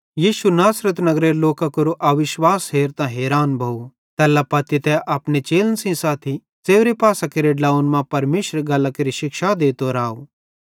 यीशु नासरत नगरेरे लोकां केरो अविश्वास हेरतां हैरान भोव तैल्ला पत्ती तै अपने चेलन सेइं साथी च़ेव्रे पासन केरे ड्लोंव्वन मां परमेशरेरी गल्लां केरि शिक्षा देतो राव